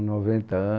Noventa anos